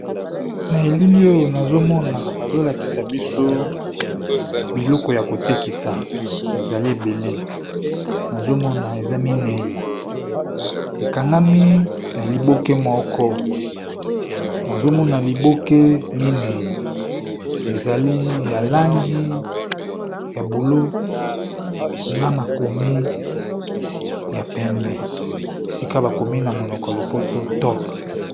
Na elili oyo nazo mona bazo lakisa biso biloko ya ko tekisa ezali ebele nazo mona eza mineyi, ekangami na liboke moko. Nazo mona liboke mineyi, ezali ya langi ya bulu na makomi ya pembe esika bakomi na monoko ya lopoto top.